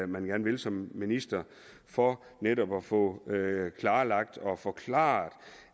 man vil som minister for netop at få klarlagt og forklaret